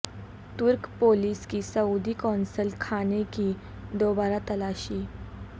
ترک پولیس کی سعودی قونصل خانے کی دوبارہ تلاشی